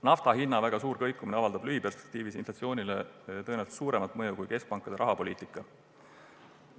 Naftahinna väga suur kõikumine avaldab lühikeses perspektiivis inflatsioonile tõenäoliselt suuremat mõju kui keskpankade rahapoliitika.